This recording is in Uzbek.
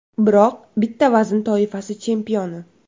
Biroq bitta vazn toifasi chempioni.